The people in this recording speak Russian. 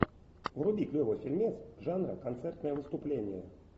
вруби клевый фильмец жанра концертное выступление